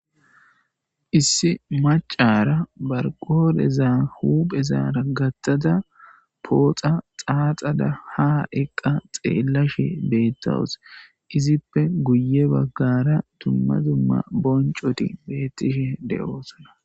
Issi maccara barqodheza huphezara gaththada pooxa xaaxada haa eqqa xeelashe beetawus izippe guye bagaara dumma dumma boncoti beetishe de'osonna.